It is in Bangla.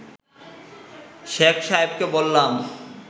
শেখ সাহেবকে বললাম